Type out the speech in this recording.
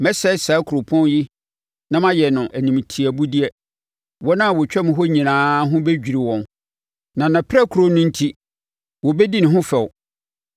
Mɛsɛe saa kuropɔn yi na mayɛ no animtiabudeɛ; wɔn a wɔtwam hɔ no nyinaa ho bɛdwiri wɔn, na nʼapirakuro no enti wɔbɛdi ne ho fɛw.